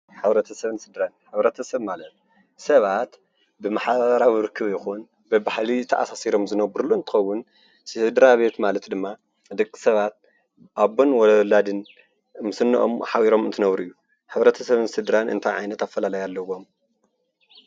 ሕብረተሰብን ስድራን፡- ሕብረተሰብ ማለት ሰባት ብማሕበራዊ ርክብ ይኩን ብባህሊ ተኣሰሲሮም ዝነብሩሉ እንትኮኑ ስድራቤት ማለት ድማ ደቂ ሰባት ኣቦን ወላድን ምስ እንኦም ሓቢሮም እንትነብሩ እዩ፡፡ ሕብረተሰብን ስድራን እንታይ ዓይነት ኣፈላላይ ኣለዎም?